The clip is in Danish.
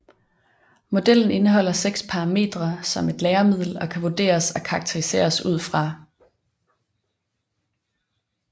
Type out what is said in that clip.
Modellen indeholder seks parametre som et læremiddel kan vurderes og karakteriseres ud fra